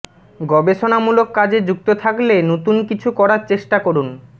গবেষণামূলক কাজে যুক্ত থাকলে নতুন কিছু করার চেষ্টা করুন